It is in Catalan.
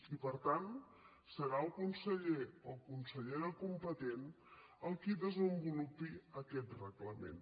i per tant serà el conseller o consellera competent el qui desenvolupi aquest reglament